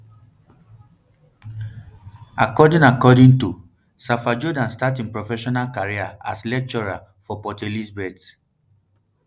according according tosafa jordaan start im professional um career as lecturer for port um elizabeth